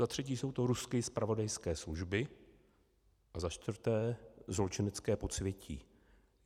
Za třetí jsou to ruské zpravodajské služby a za čtvrté zločinecké podsvětí.